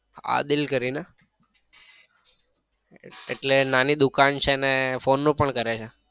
આદિલ કરી ને એટલે નાની દુકાન છે ને phone નું પણ કરે છે.